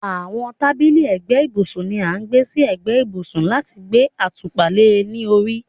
àwọn tábìlì ẹ̀gbẹ́ ibùsùn ni a má ń gbé sí ẹ̀gbẹ́ ibùsùn láti gbé àtùpà le ní orí